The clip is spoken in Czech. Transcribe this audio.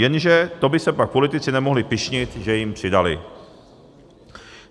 Jenže to by se pak politici nemohli pyšnit, že jim přidali.